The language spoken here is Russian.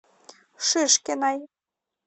шишкиной